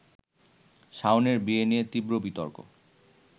শাওনের বিয়ে নিয়ে তীব্র বিতর্ক